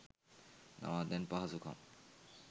නවාතැන් පහසුකම්